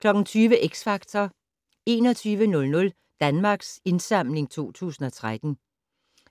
20:00: X Factor 21:00: Danmarks Indsamling 2013